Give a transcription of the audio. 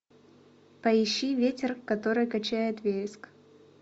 поищи ветер который качает вереск